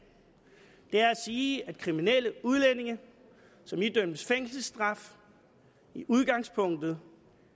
det er at sige at kriminelle udlændinge som idømmes fængselsstraf i udgangspunktet